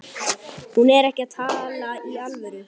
Hún er ekki að tala í alvöru.